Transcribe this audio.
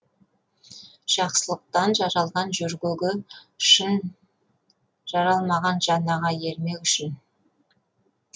жақсылықтан жаралған жөргегі шын жаралмаған жан аға ермек үшін